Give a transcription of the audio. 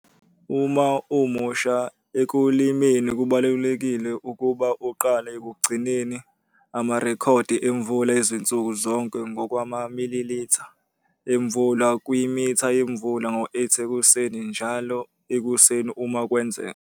Uma umusha ekulimeni kubalulekile ukuba uqale ukugcina amarekhodi emvula ezinsuku zonke ngokwamamililitha emvula kwimitha yemvula ngo-8h00 ekuseni njalo ekuseni uma kwenzeka.